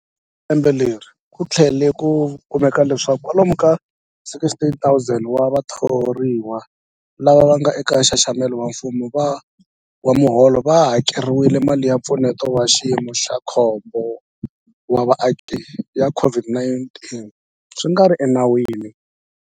Ekusunguleni ka lembe leri, ku tlhele ku kumeka leswaku kwalomu ka 16,000 wa vathoriwa lava nga eka nxaxamelo wa mfumo wa miholo va hakeriwile mali ya Mpfuneto wa Xiyimo xa Khombo wa Vaaki ya COVID-19 swi nga ri enawini.